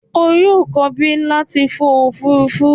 O yoo ko bi lati fo a ofurufu!